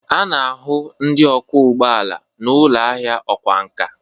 A na-ahụ ndị ọkwọ ụgbọ ala n'ụlọ ahịa ọkwá nkà